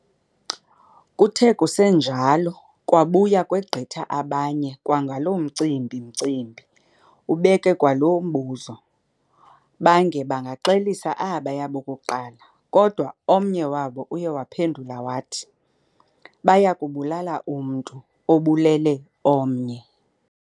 Kuthe kusenjalo kwabuya kwegqitha abanye kwangawo loo Umcimbimcimbi, ubeke kwalo mbuzo. Baange bangaxelisa abaya bokuqala, kodwa omnye wabo uye waphendula wathi, baya kubulala umntu obulele omnye.